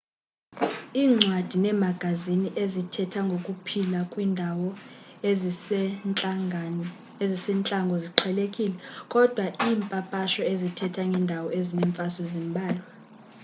iincwadi neemagazini ezithetha ngokuphila kwiindawo ezisentlango ziqhelekile kodwa iimpapasho ezithetha ngeendawo ezinemfazwe zimbalwa